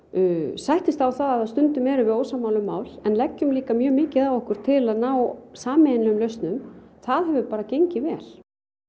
sættist á það að stundum erum við ósammála um mál en leggjum líka mjög mikið á okkur til að ná sameiginlegum lausnum það hefur bara gengið vel